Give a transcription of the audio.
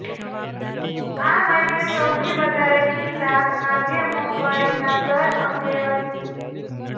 આ માટે સૌથી વધારે ચિંતા ખાદ્ય મોંઘવારીના દર અંગે હતી